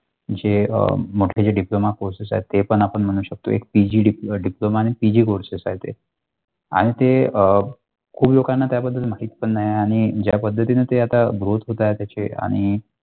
जे अ म्हटलेल्या diploma courses आहेत ते पण आपण म्हणू शकतोय PG diploma courses आहे ते आणि ते अ खूप लोकांना त्या बद्दल माहित पण नाही आणि ज्या पद्धतीने ते आता growth होतात त्याचे आणि.